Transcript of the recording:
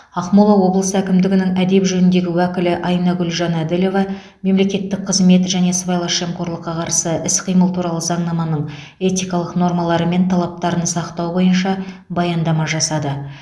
ақмола облысы әкімдігінің әдеп жөніндегі уәкілі айнагүл жанәділова мемлекеттік қызмет және сыбайлас жемқорлыққа қарсы іс қимыл туралы заңнаманың этикалық нормалары мен талаптарын сақтау бойынша баяндама жасады